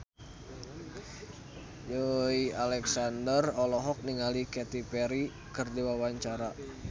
Joey Alexander olohok ningali Katy Perry keur diwawancara